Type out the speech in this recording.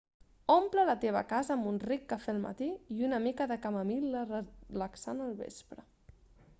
omple la teva casa amb un ric cafè al matí i una mica de camamil·la relaxant al vespre